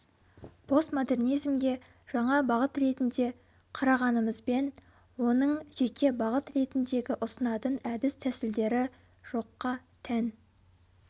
постмодернизмге жаңа бағыт ретінде қарағанымызбен оның жеке бағыт ретіндегі ұсынатын әдіс тәсілдері жоққа тән